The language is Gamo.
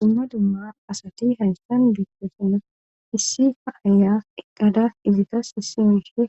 Dumma dumma asati haysan beettasana issi ha aya eqada izitas issi miishe